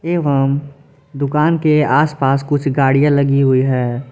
एवं दुकान के आसपास कुछ गाड़ियां लगी हुई है।